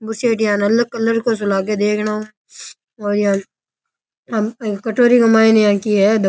बुस्सट yellow colour को लागे देखनाऊ और यान कटोरी के मायने इया की है।